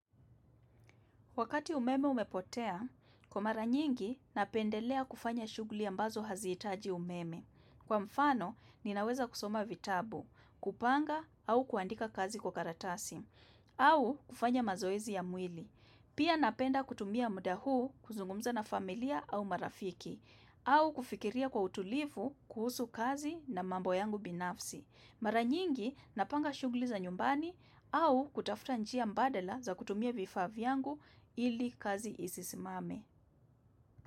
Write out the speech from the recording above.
Wakati umeme umepotea, kwa mara nyingi napendelea kufanya shughuli ambazo haziitaji umeme. Kwa mfano, ninaweza kusoma vitabu, kupanga au kuandika kazi kwa karatasi, au kufanya mazoezi ya mwili. Pia napenda kutumia muda huu kuzungumza na familia au marafiki, au kufikiria kwa utulivu kuhusu kazi na mambo yangu binafsi. Mara nyingi napanga shughuli za nyumbani, au kutafuta njia mbadala za kutumia vifaa vyangu ili kazi isisimame.